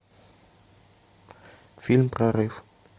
фильм прорыв